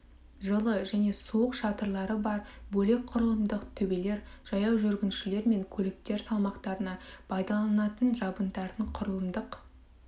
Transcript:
жылы және суық шатырлары бар бөлек құрылымдық төбелер жаяу жүргіншілер мен көліктер салмақтарына пайдаланатын жабындардың құрылымдық